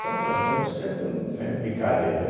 Só o plantão, por isso que tem tanto médico picareta aí.